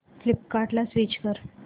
फ्लिपकार्टं ला स्विच कर